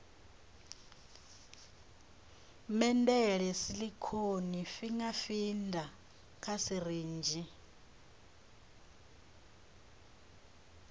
medela silicone finger feeder kha sirinzhi